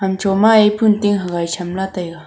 hamchu maye phon ting hagai chamla taiga.